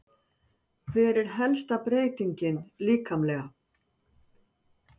Hver er helsta breytingin líkamlega?